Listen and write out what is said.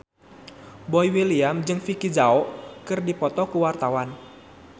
Boy William jeung Vicki Zao keur dipoto ku wartawan